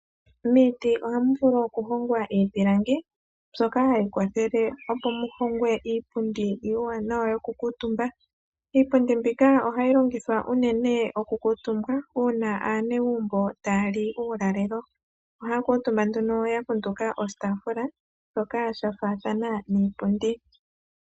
Miiti ohamu vulu oku hongwa iipilangi mbyoka hayi kwathele opo mu hongwe iipundi iiwanawa yoku kuntumba. Iipundi mbika ohayi longwithwa uunene oku kuntumbwa uuna aanegumbo taya li uulalelo ohaya kuuntumba nduno ya kunduka oshitafula shoka sha faathana niipundi.